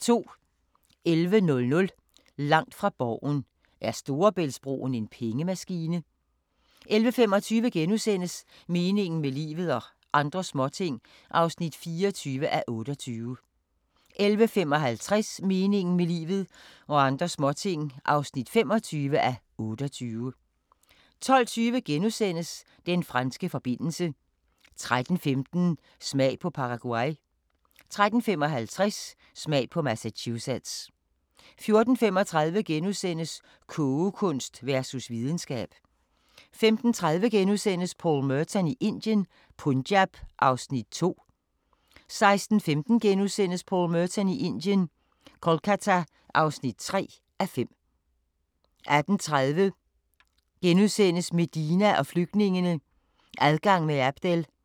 11:00: Langt fra Borgen: Er Storebæltsbroen en pengemaskine? 11:25: Meningen med livet – og andre småting (24:28)* 11:55: Meningen med livet – og andre småting (25:28) 12:20: Den franske forbindelse * 13:15: Smag på Paraguay 13:55: Smag på Massachusetts 14:35: Kogekunst versus videnskab * 15:30: Paul Merton i Indien - Punjab (2:5)* 16:15: Paul Merton i Indien – Kolkata (3:5)* 18:30: Medina og flygtningene – Adgang med Abdel *